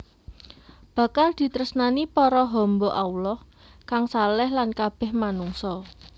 Bakal ditresnani para hamba Allah kang shaleh lan kabeh manungsa